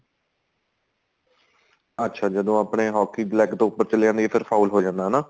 ਅੱਛਾ ਜਦੋਂ ਆਪਣੇ hockey leg ਤੋਂ ਉਪਰ ਚਲੀ ਜਾਂਦੀ ਏ ਫੇਰ foul ਹੋ ਜਾਂਦਾ ਹਨਾ